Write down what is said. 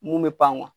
Mun bɛ pan